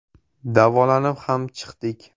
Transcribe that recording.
Davolanib ham chiqdik.